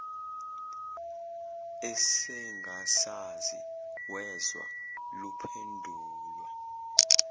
esengasazi wezwa luphendulwa